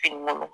Fini